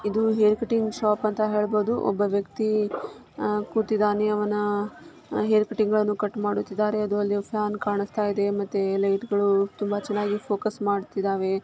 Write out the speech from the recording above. ಇದು hair cutting shop ಅಂತ ಹೇಳಬಹುದು. ಒಬ್ಬ ವ್ಯಕ್ತಿ ಆಹ್ ಕೂತಿದ್ದಾನೆ ಅವನ ಹೇರ್ ಕಟಿಂಗ್ ಗಳನ್ನು ಕಟ್ ಮಾಡುತ್ತಿದ್ದಾರೆ. ಅದು ಅಲ್ಲದೆ ಫ್ಯಾನ್ ಕಾಣಿಸ್ತಾ ಇದೆ ಮತ್ತೆ ಲೈಟ್ಗಳು ತುಂಬಾ ಚೆನ್ನಾಗಿ ಫೋಕಸ್ ಮಾಡ್ತಿದಾವೆ.